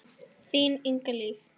Þín Inga Hlíf.